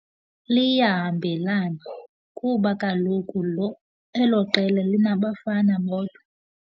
Liyahambelana kuba kaloku lo elo qela linabafana bodwa.